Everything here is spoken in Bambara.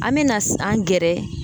An bɛna an gɛrɛ